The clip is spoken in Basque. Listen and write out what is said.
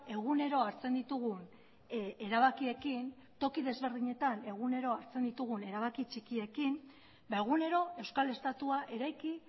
egunero hartzen ditugun erabakiekin toki desberdinetan egunero hartzen ditugun erabaki txikiekin ba egunero euskal estatua eraiki